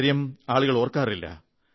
ഇക്കാര്യം ആളുകൾ ഓർക്കാറില്ല